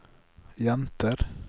jenter